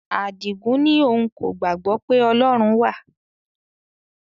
Adigun ní òun kò gbàgbọ́ pé Ọlọ́run wà